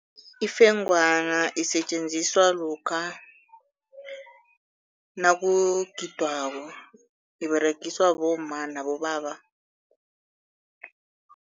Ifengwana isetjenziswa lokha nakugidwako, iberegiswa bomma nabobaba.